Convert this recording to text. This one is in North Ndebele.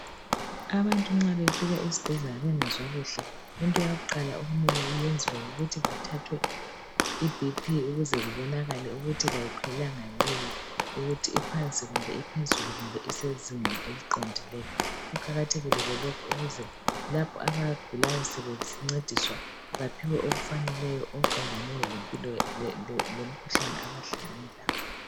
Abantu nxa befika esibhedlela bengezwa kuhle into yakuqala okumele yenziwe yikuthi bathathwe i BP ukuze kubonakale ukuthi kayikhwelanga yini ukuthi iphansi kumbe iphezulu kumbe isezingeni eliqondileyo. Kuqakathekile ke lokhu ukuze lapho abagulayo sebencediswa baphiwe okufaneleyo okuqondane lemkhuhlane abahlangane lawo.